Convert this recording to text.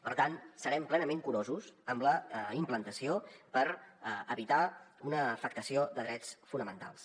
per tant serem plenament curosos amb la implantació per evitar una afectació de drets fonamentals